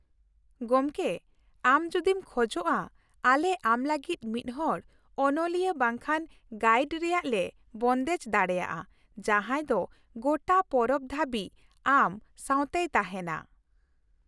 ᱜᱚᱢᱠᱮ, ᱟᱢ ᱡᱩᱫᱤᱢ ᱠᱷᱚᱡᱚᱜᱼᱟ ᱟᱞᱮ ᱟᱢ ᱞᱟᱹᱜᱤᱫ ᱢᱤᱫᱦᱚᱲ ᱚᱱᱚᱞᱤᱭᱟᱹ ᱵᱟᱝᱠᱷᱟᱱ ᱜᱟᱭᱤᱰ ᱨᱮᱭᱟᱜ ᱞᱮ ᱵᱚᱱᱫᱮᱡᱽ ᱫᱟᱲᱮᱭᱟᱜᱼᱟ ᱡᱟᱦᱟᱸᱭ ᱫᱚ ᱜᱚᱴᱟ ᱯᱚᱨᱚᱵᱽ ᱫᱷᱟᱹᱵᱤᱡ ᱟᱢ ᱥᱟᱶᱛᱮᱭ ᱛᱟᱦᱮᱱᱟ ᱾